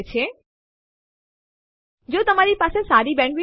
તે માટે આપણે લખીશું ડબ્લ્યુસી સેમ્પલ3 અને Enter કળ દબાવો